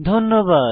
ধন্যবাদ